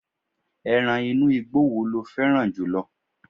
eran inú igbó wo lo féràn jùlọ